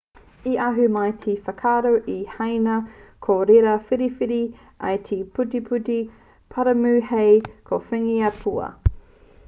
i ahu mai te whakaaro nei i haina ko reira whiriwhiri ai te putiputi paramu hei kōwhiringa pua